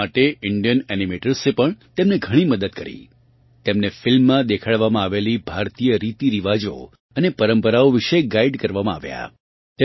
આ માટે ઇન્ડિયન એનિમેટર્સે પણ તેમની ઘણી મદદ કરી તેમને ફિલ્મમાં દેખાડવામાં આવેલ ભારતીય રીતીરિવાજો અને પરંપરાઓ વિશે ગાઇડ કરવામાં આવ્યાં